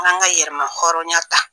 An k'an ka yɛrɛma hɔrɔnya ta.